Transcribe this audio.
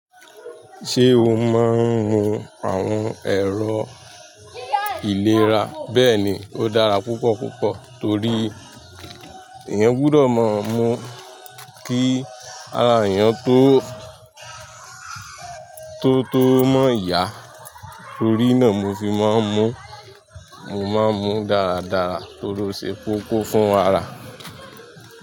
Ṣé o máa ń mu àwọn ẹ̀rọ ìlera? Bẹ́ẹ̀ni, ó dára púpọ̀ púpọ̀ torí èèyàn gbọdọ̀ máa mú kí ara èèyàn tó tó tó máa yá. Torí náà mo fi máa ń mú, mo máa ń mu dáradára torí ó ṣe kókó fún ara.